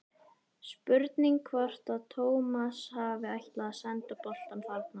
Spurning hvort að Tómas hafi ætlað að senda boltann þarna?